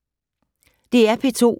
DR P2